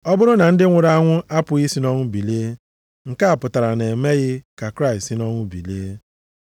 Ọ bụrụ na ndị nwụrụ anwụ a pụghị i si nʼọnwụ bilie, nke a pụtara na e meghị ka Kraịst site nʼọnwụ bilie.